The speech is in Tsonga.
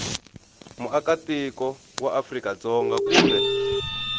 muakatiko wa afrika dzonga kumbe